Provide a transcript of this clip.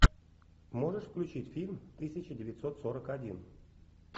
можешь включить фильм тысяча девятьсот сорок один